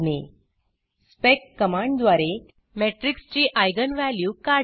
spec कमांडद्वारे matrix ची eigenइगन व्हॅल्यू काढणे